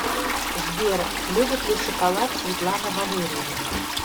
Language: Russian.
сбер любит ли шоколад светлана валерьевна